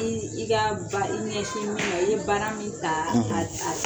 I i ka baa i ɲɛsin min ma i ye baara min ta a a